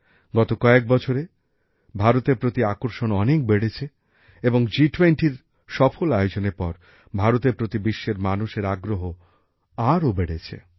গত কয়েক বছরে ভারতের প্রতি আকর্ষণ অনেক বেড়েছে এবং জি20এর সফল আয়োজনের পর ভারতের প্রতি বিশ্বের মানুষের আগ্রহ আরও বেড়েছে